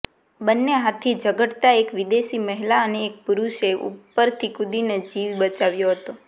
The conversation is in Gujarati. બંને હાથી ઝઘડતા એક વિદેશી મહિલા અને એક પુરુષે ઉપરથી કુદીને જીવ બચાવ્યો હતો